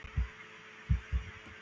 Þetta virkar best fyrir okkur.